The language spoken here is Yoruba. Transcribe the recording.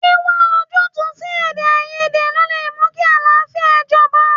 Wíwá ojútùú sí Èdèáiyedé ló lè mú kí àlàáfíà jọba.